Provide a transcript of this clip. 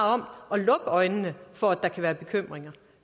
om at lukke øjnene for at der kan være bekymringer